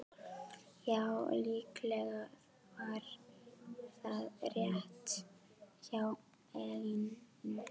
Já, líklega var það rétt hjá Lenu.